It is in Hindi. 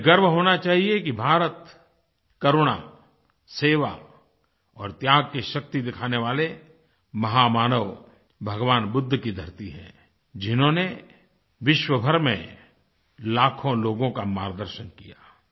हमें गर्व होना चाहिए कि भारत करुणा सेवा और त्याग की शक्ति दिखाने वाले महामानव भगवान बुद्ध की धरती है जिन्होंने विश्वभर में लाखों लोगों का मार्गदर्शन किया